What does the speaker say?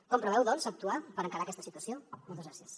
com preveu doncs actuar per encarar aquesta situació moltes gràcies